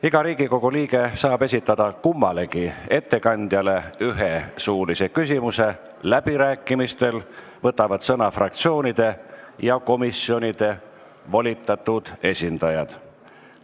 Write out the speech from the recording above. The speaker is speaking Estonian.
Iga Riigikogu liige saab kummalegi ettekandjale esitada ühe suulise küsimuse, läbirääkimistel võtavad sõna fraktsioonide ja komisjonide volitatud esindajad.